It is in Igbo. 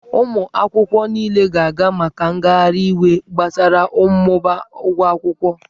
Ụmụ akwụkwọ niile ga-aga maka ngagharị iwe gbasara mmụba ụgwọ akwụkwọ.